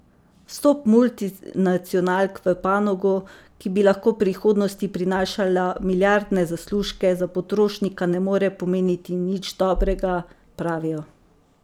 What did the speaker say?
Vstop multinacionalk v panogo, ki bi lahko v prihodnosti prinašala milijardne zaslužke, za potrošnika ne more pomeniti nič dobrega, pravijo.